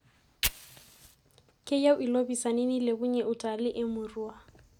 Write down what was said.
Keyieu ilopiisani nilepunye utalii e murua.